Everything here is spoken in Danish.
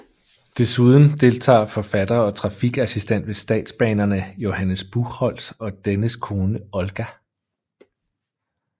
Desuden deltager forfatter og trafikassistent ved Statsbanerne Johannes Buchholtz og dennes kone Olga